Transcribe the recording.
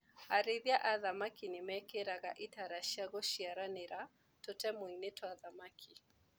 Arĩithia a thamaki nĩmekĩraga itara cia gũciaranĩra tũtemuinĩ twa thamaki.